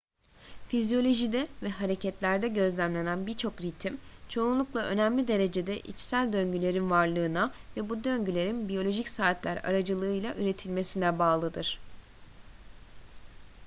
fizyolojide ve hareketlerde gözlenen birçok ritim çoğunlukla önemli derecede içsel döngülerin varlığına ve bu döngülerin biyolojik saatler aracılığıyla üretilmesine bağlıdır